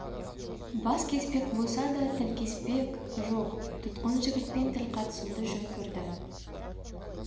бас кеспек болса да тіл кеспек жоқтұтқын жігітпен тіл қатысуды жөн көрді